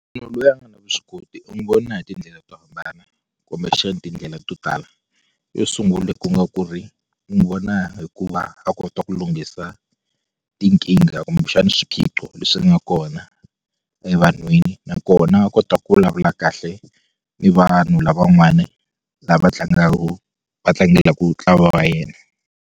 Munhu loyi a nga na vuswikoti u n'wi vona hi tindlela to hambana kumbexani tindlela to tala yo sungula ku nga ku ri u n'wi vona hikuva a kota ku lunghisa tinkingha kumbexani swiphiqo leswi nga kona evanhwini nakona kota ku vulavula kahle ni vanhu lavan'wani lava tlangaku va tlangelaku ntlawa wa yena.